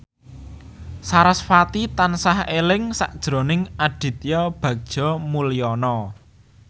sarasvati tansah eling sakjroning Aditya Bagja Mulyana